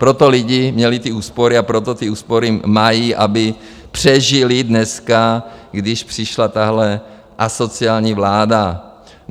Proto lidi měli ty úspory a proto ty úspory mají, aby přežili dneska, když přišla tahle asociální vláda.